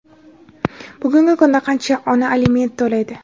Bugungi kunda qancha ona aliment to‘laydi?.